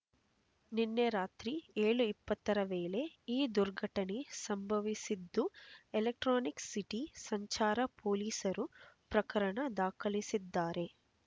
ನಿನ್ನೆ ರಾತ್ರಿ ಏಳು ಇಪ್ಪತ್ತರ ವೇಳೆ ಈ ದುರ್ಘಟನೆ ಸಂಭವಿಸಿದ್ದು ಎಲೆಕ್ಟ್ರಾನಿಕ್ ಸಿಟಿ ಸಂಚಾರ ಪೊಲೀಸರು ಪ್ರಕರಣ ದಾಖಲಿಸಿದ್ದಾರೆ